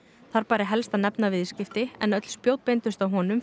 þar bæri helst að nefna viðskipti en öll spjót beindust að honum